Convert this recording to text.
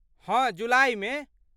हँ जुलाइमे।